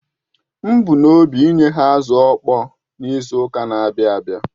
M bu n’obi inye ha azụ̀ ọ̀kpọ̀ọ̀ n’izu ụka na-abịa